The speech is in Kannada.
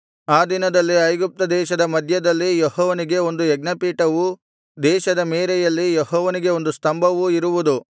ಅ ದಿನದಲ್ಲಿ ಐಗುಪ್ತ ದೇಶದ ಮಧ್ಯದಲ್ಲಿ ಯೆಹೋವನಿಗೆ ಒಂದು ಯಜ್ಞಪೀಠವು ದೇಶದ ಮೇರೆಯಲ್ಲಿ ಯೆಹೋವನಿಗೆ ಒಂದು ಸ್ತಂಭವೂ ಇರುವುದು